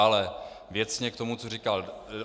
Ale věcně k tomu, co říkal.